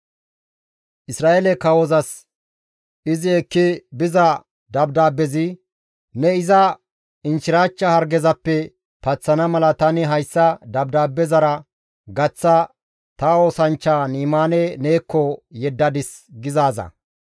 Isra7eele kawozas izi ekki biza dabdaabbezi, «Ne iza inchchirachcha hargezappe paththana mala tani hayssa dabdaabbezara gaththa ta oosanchchaa Ni7imaane neekko yeddadis» gizaaza.